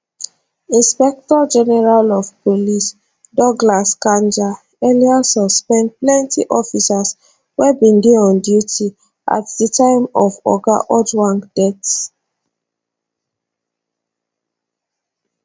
inspectorgeneral of police douglas kanja earlier suspend plenty officers wey bin dey on duty at di time of oga ojwang death